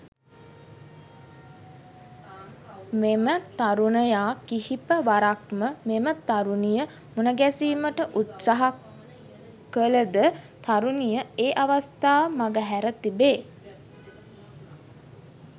මෙම තරුණයා කිහිප වරක්ම මෙම තරුණිය මුණගැසීමට උත්සාහ කළ ද තරුණිය ඒ අවස්ථා මගහැර තිබේ.